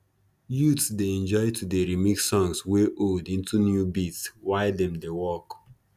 youths dey enjoy to dey remix songs wey old into new beats while dem dey work